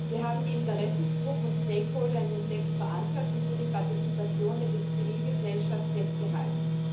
Wir haben die Interessengruppen und Stakeholder in dem Text verankert und so die Partizipation der Zivilgesellschaft festgehalten.